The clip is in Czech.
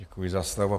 Děkuji za slovo.